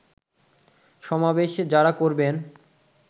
সমাবেশ যারা করবেন